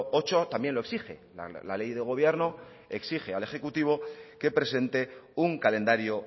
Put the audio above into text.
ocho también lo exige la ley de gobierno exige al ejecutivo que presente un calendario